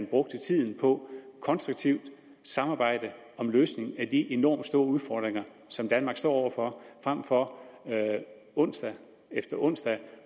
brugte tiden på konstruktivt samarbejde om løsning af de enormt store udfordringer som danmark står over for frem for at man onsdag efter onsdag